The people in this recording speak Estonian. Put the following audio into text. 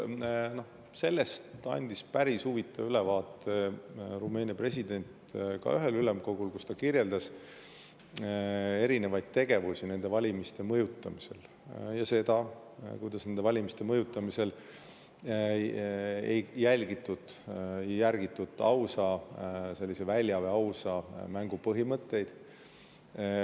Sellest andis päris huvitava ülevaate Rumeenia president ühel ülemkogul, kus ta kirjeldas erinevaid tegevusi nende valimiste mõjutamisel ja seda, kuidas valimiste mõjutamisel ei järgitud ausa mängu põhimõtteid.